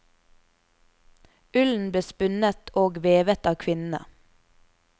Ullen ble spunnet og vevet av kvinnene.